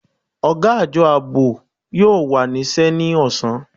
Ọ̀gá Àjọ Ààbò yóò wà níṣẹ́ ní ọ̀sán